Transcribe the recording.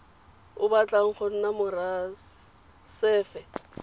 o batlang go nna morasefe